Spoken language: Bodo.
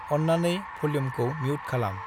अन्नानै भल्युमखौ मिउट खालाम।